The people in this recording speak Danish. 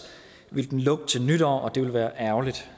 ville den lukke til nytår og det ville være ærgerligt